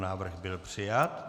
Návrh byl přijat.